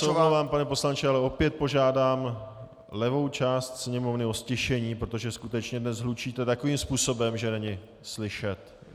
Já se omlouvám, pane poslanče, ale opět požádám levou část Sněmovny o ztišení, protože skutečně dnes hlučíte takovým způsobem, že není slyšet.